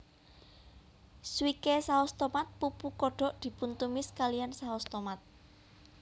Swike saus tomat pupu kodok dipuntumis kalihan saos tomat